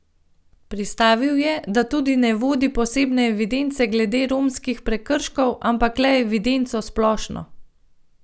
Pristavil je, da tudi ne vodi posebne evidence glede romskih prekrškov, ampak le evidenco splošno.